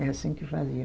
É assim que eu fazia.